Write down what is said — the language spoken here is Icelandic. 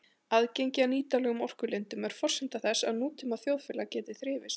Aðgengi að nýtanlegum orkulindum er forsenda þess að nútíma þjóðfélag geti þrifist.